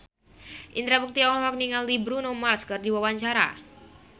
Indra Bekti olohok ningali Bruno Mars keur diwawancara